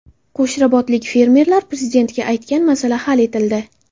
Qo‘shrabotlik fermerlar Prezidentga aytgan masala hal etildi.